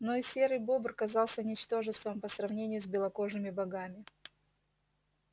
но и серый бобр казался ничтожеством по сравнению с белокожими богами